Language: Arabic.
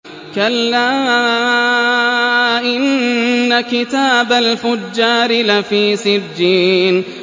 كَلَّا إِنَّ كِتَابَ الْفُجَّارِ لَفِي سِجِّينٍ